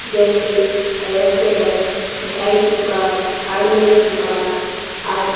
जैसे रेस्टोरेंट मिठाई की दुकान हार्डवेयर की दुकान आदि।